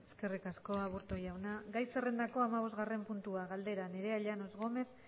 eskerrik asko aburto jauna gai zerrendako hamabosgarren puntua galdera nerea llanos gómez